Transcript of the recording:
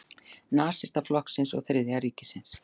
Nasistaflokksins og Þriðja ríkisins.